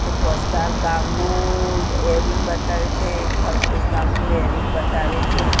એક ગામનુ બતાવે છે એક થલતેજ ગામનુ બતાવે છે.